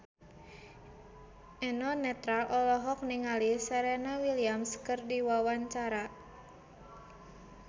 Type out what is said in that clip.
Eno Netral olohok ningali Serena Williams keur diwawancara